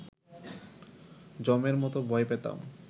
যমের মতো ভয় পেতাম